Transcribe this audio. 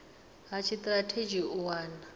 ha tshitirathedzhi u wana ip